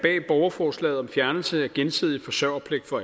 bag borgerforslaget om fjernelse af gensidig forsørgerpligt for